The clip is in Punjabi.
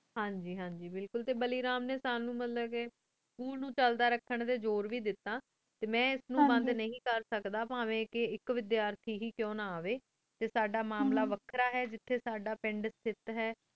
ਹਨ ਜੀ ਹਨ ਜੀ ਬਿਲਕੁਲ ਟੀ ਬਾਲੀ ਰਾਮ ਨੀ ਸਾਨੂ ਮਤਲਬ ਕੀ school ਨੂ ਚੜਾ ਰਖਣ ਟੀ ਜ਼ੁਰ ਵੇ ਦੇਤਾ ਮੈਂ ਇਸ ਨੂ ਬੰਦ ਨੀ ਕਰ ਸਕਦਾ ਪਾਵੀ ਆਇਕ ਆਇਕ ਵੇਧਰ ਟੀ ਕੁੰ ਨਾ ਅਵੀ ਟੀ ਸਦਾ ਮਾਮਲਾ ਵੇਖ੍ਰਾ ਹਨ ਜੇਠੀ ਜੇਠੀ ਸਦਾ ਪੇੰਡ